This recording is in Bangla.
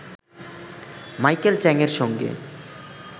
মাইকেল চ্যাংয়ের সঙ্গে